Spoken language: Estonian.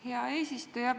Hea eesistuja!